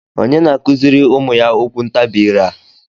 onye na-akụziri ụmụ ya okwuntabi ire a?